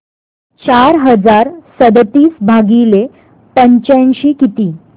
चार हजार सदतीस भागिले पंच्याऐंशी किती